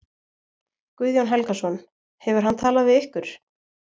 Guðjón Helgason: Hefur hann talað við ykkur?